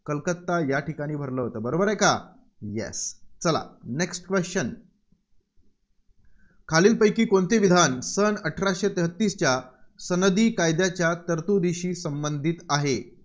कलकत्ता या ठिकाणी भरलं होतं. बरोबर आहे का? Yes चला next question खालीलपैकी कोणते विधान सन अठराशे तेहतीसच्या सनदी कायद्याच्या तरतुदीशी संबधित आहे?